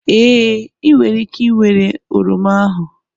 Ee, ị nwere ike ịnwere oroma ahu